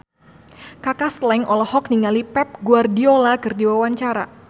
Kaka Slank olohok ningali Pep Guardiola keur diwawancara